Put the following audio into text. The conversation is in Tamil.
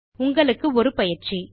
உங்களுக்கு ஒரு பயிற்சி